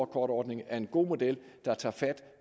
kort ordningen er en god model der tager fat